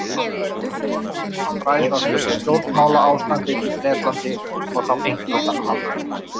Þeir vildu ólmir fræðast um stjórnmálaástandið í Bretlandi- og þá einkum þann alræmda